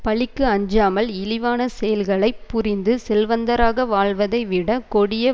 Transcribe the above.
பழிக்கு அஞ்சாமல் இழிவான செயல்களை புரிந்து செல்வந்தராக வாழ்வதைவிட கொடிய